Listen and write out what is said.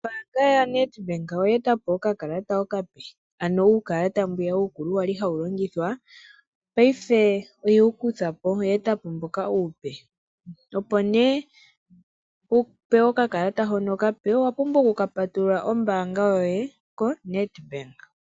Ombaanga yaNedbank oya eta oka kalata okape, ano uukalata mbwiya uukulu wali hawu longithwa paife oye wu kutha po oya eta po mboka uupe, opo nee wu pewe oka kalata hono okape owa pumbwa oku ka patulula ombaanga yoye koNedbank.